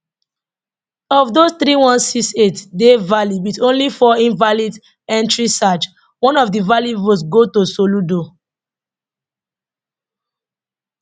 of those three one six eight dey valid wit only four invalid entrieseach one of di valid votes go to soludo